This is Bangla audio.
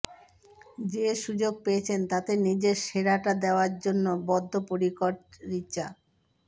যে সুযোগ পেয়েছেন তাতে নিজের সেরাটা দেওয়ার জন্য বদ্ধপরিকর রিচা